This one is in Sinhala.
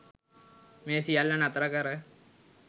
මේ සියල්ල නතර කර